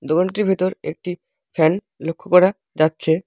দোকানটির ভিতর একটি ফ্যান লক্ষ করা যাচ্ছে।